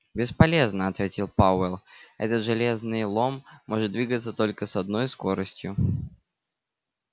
бесполезно ответил пауэлл этот железный лом может двигаться только с одной скоростью